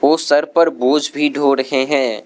उस सर पर बोझ भी ढो रहे हैं।